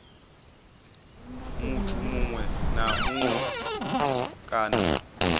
muthu muṅwe na muṅwe kana